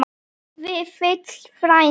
Vífill frændi.